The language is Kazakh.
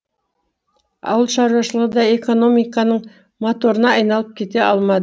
ауылшаруашылығы да экономиканың моторына айналып кете алма